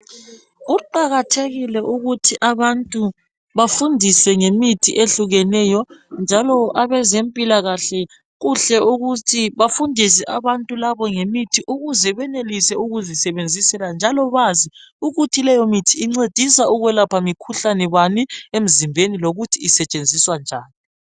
Kuqakathekile ukuthi abantu bafundiswe ngemithi ehlukeneyo. Njalo abezempilakahle kuhle ukuthi bafundise abantu labo ngemithi ukuze benelise ukuzisebenzisela njalo Bazi ukuthi leyo mithi incedisa ukwelapha mikhuhlane bani emzimbeni lokuthi isetshenziswa njani.